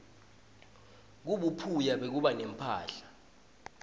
kubuphuya bekuba nemphahla